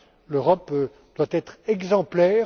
L'Europe doit être exemplaire